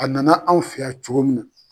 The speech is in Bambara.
A nana anw fɛ yan cogo min na.